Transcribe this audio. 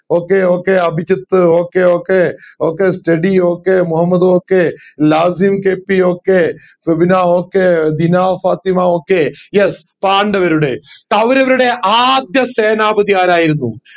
okay okay Abhijith okay okay okay study okay Muhammad okay Lasim KPokay Febina okay Febina Fathima okay yes പാണ്ഡവരുടെ കൗരവരുടെ ആദ്യ സേനാപതി ആരായിരുന്നു